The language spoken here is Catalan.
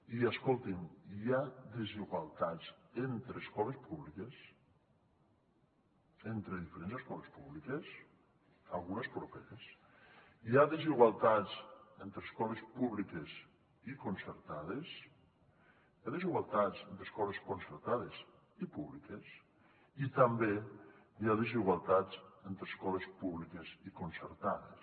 i escoltin hi ha desigualtats entre escoles públiques entre diferents escoles públiques algunes properes hi ha desigualtats entre escoles públiques i concertades hi ha desigualtats entre escoles concertades i públiques i també hi ha desigualtats entre escoles públiques i concertades